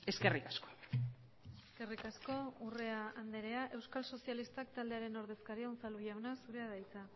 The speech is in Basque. eskerrik asko eskerrik asko urrea andrea euskal sozialistak taldearen ordezkaria unzalu jauna zurea da hitza